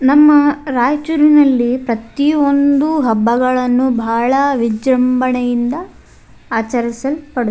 ನಮ್ಮ ರಾಯಚೂರಿನಲ್ಲಿ ಪ್ರತಿಯೊಂದು ಹಬ್ಬಗಳನ್ನು ಬಹಳ ವಿಜೃಂಭಣೆಯಿಂದ ಆಚರಿಸಲ್ಪಡು --